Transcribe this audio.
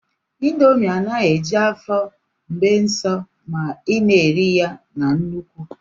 indomi anaghị eju afọ bee sọ ma ị na-eri ya na nnukwu